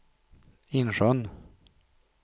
Insjön